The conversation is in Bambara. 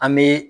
An bɛ